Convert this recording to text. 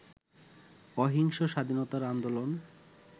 অহিংস স্বাধীনতা আন্দোলন